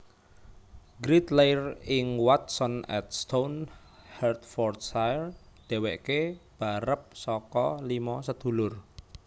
Grint lair ing Watton at Stone Hertfordshire dhéwéké barep saka limo sedulur